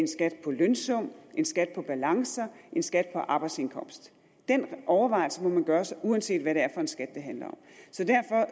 skat på lønsum en skat på balancer en skat på arbejdsindkomst den overvejelse må man gøre sig uanset hvad det er for en skat det handler om